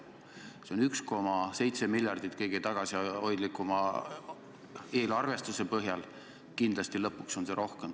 See nõuab 1,7 miljardit kõige tagasihoidlikuma eelarvestuse põhjal, kindlasti lõpuks palju rohkem.